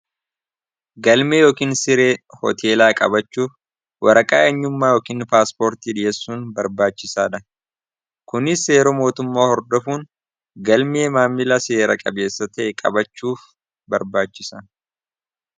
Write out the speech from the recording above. Galmee yookiin siree hooteelaa qabachuuf waraqaa'eenyummaa yookiin paaspoortii dhiyeessuun barbaachisaa dha kunis seeroo mootummaa hordafuun galmee maammila seera qabeessa ta'e qabachuuf barbaachisa.